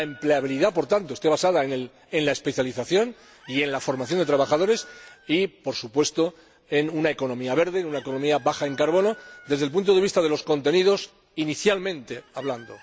empleabilidad, por tanto, esté basada en la especialización y en la formación de trabajadores y, por supuesto, en una economía verde, una economía baja en carbono, desde el punto de vista de los contenidos de los que hemos inicialmente hablado.